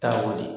Taa ko de